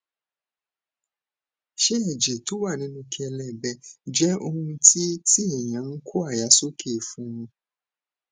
ṣé ẹjẹ tó wà nínú kelebe jẹ ohun ti ti eyan n ko aya soke fun